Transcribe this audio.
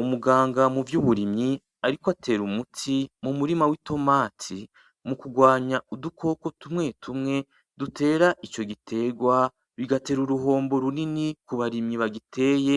Umuganga muvyuburimyi ariko atera umuti mumurima w'itomati, mukugwanya udukoko tumwe tumwe dutera icogitegwa bigatera uruhombo runini kubarimyi bagiteye,